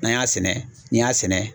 N'an y'a sɛnɛ, n'i y'a sɛnɛ